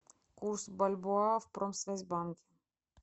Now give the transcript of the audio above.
курс бальбоа в промсвязьбанке